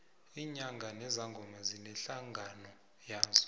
iinyanga nezangoma zinehlangano yazo